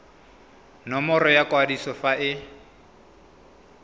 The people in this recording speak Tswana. nomoro ya kwadiso fa e